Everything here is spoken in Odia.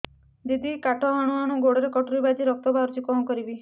ଦିଦି କାଠ ହାଣୁ ହାଣୁ ଗୋଡରେ କଟୁରୀ ବାଜି ରକ୍ତ ବୋହୁଛି କଣ କରିବି